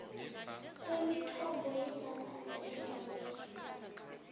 kwemithombo yezamanzi endaweni